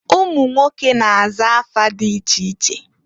Umunwoke na-aza afa di iche iche.